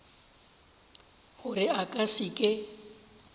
gore a ka se ke